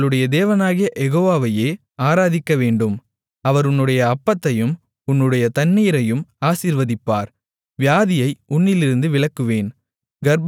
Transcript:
உங்களுடைய தேவனாகிய யெகோவாவையே ஆராதிக்கவேண்டும் அவர் உன்னுடைய அப்பத்தையும் உன்னுடைய தண்ணீரையும் ஆசீர்வதிப்பார் வியாதியை உன்னிலிருந்து விலக்குவேன்